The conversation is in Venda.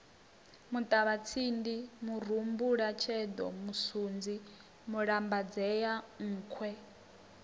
muṱavhatsindi murumbulasheḓo musunzi mulambadzea nkhwe